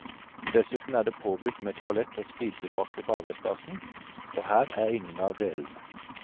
Dessuten er det påbudt med toalett og spisebrakke på arbeidsplassen, og her er ingen av delene.